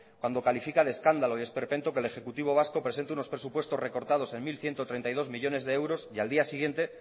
cuando califica de escándalo y de esperpento que el ejecutivo vasco presente unos presupuestos recortados en mil ciento treinta y dos millónes de euros y al día siguiente